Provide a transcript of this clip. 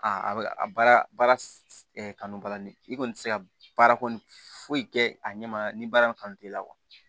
A bɛ a baara baara kanu ba la ni i kɔni tɛ se ka baara kɔni foyi kɛ a ɲɛ ma ni baara in kanu t'i la